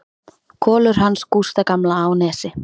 Kolur hans Gústa gamla á Nesi.